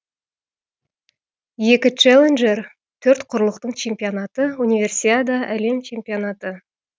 екі челленджер төрт құрлықтың чемпионаты универсиада әлем чемпионаты